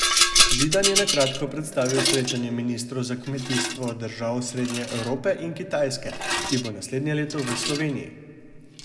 Židan je na kratko predstavil srečanje ministrov za kmetijstvo držav srednje Evrope in Kitajske, ki bo naslednje leto v Sloveniji.